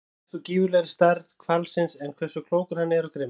Minna er gert úr gífurlegri stærð hvalsins en hversu klókur hann er og grimmur.